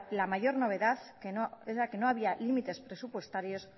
la mayor novedad era que no había límites presupuestarios